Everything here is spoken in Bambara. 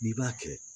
N'i b'a kɛ